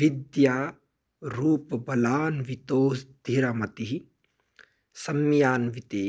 विद्यारूपबलान्वितोऽस्धिरमतिः सम्यान्विते